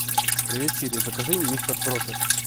привет сири закажи мистер пропер